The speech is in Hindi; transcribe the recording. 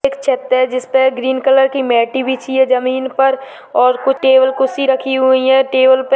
एक चदर जिस पे ग्रीन कलर की मेटी बिछी है जमीन पर और कुछ टेबल कुर्सी रखी हुई है टेबल पर --